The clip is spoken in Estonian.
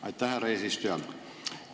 Aitäh, härra eesistuja!